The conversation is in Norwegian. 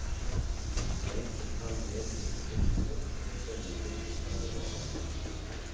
Jeg tok han med inn på kontoret og formidlet hvordan det lå an.